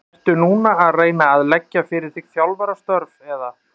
Ertu núna að reyna að leggja fyrir þig þjálfarastörf eða?